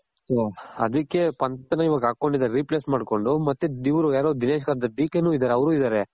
ಅದಕ್ಕೆ ಇವಾಗ replace ಮಾಡ್ಕೊಂಡು ಮತ್ತೆ ಇವ್ರು ದಿನೇಶ್ ಕಾರ್ತಿಕ್, ನು ಅವ್ರು ಇದಾರೆ .